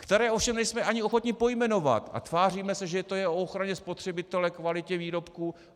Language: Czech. Které ovšem nejsme ani ochotni pojmenovat a tváříme se, že to je o ochraně spotřebitele, kvalitě výrobků.